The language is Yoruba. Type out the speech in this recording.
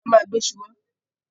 A ma gbe iṣu wá